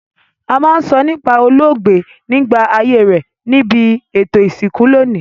A ma n sọ nípá olóògbé nígbà ayé rẹ nibi ètò ìsìnkú loní